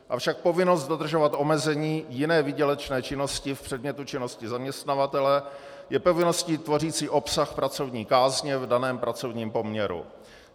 Avšak povinnost dodržovat omezení jiné výdělečné činnosti v předmětu činnosti zaměstnavatele je povinností tvořící obsah pracovní kázně v daném pracovním poměru.